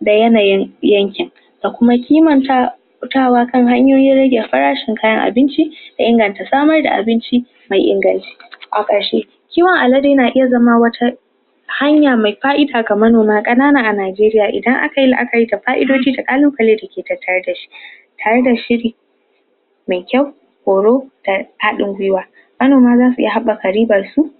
da yanayin yanken. Da kuma kimanta fitawa kan hanyoyin rage farashin kayan abinci, da inganta samar da abinci ma ingan, a kashe. Kiwon alade na iya zama wata hanya me ka'ida kamar kanana a Najeriya idan aka ka'idodi da kallubalai da ke tattare da shi tare da shiri. me kyau, horo, da hadin gwiwa Manoma za su iya habbaka riban su